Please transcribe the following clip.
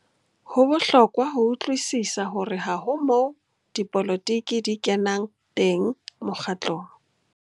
Ho bohlokwa ho utlwisisa hore ha ho moo dipolotiki di kenang teng mokgatlong.